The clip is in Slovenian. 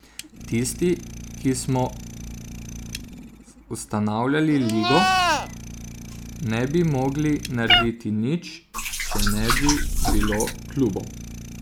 Tisti, ki smo ustanavljali ligo, ne bi mogli narediti nič, če ne bi bilo klubov.